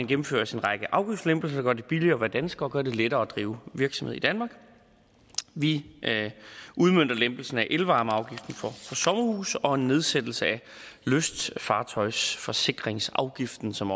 gennemføres en række afgiftslempelser der gør det billigere at være dansker og gør det lettere at drive virksomhed i danmark vi udmønter lempelsen af elvarmeafgiften for sommerhuse og nedsættelsen af lystfartøjsforsikringsafgiften som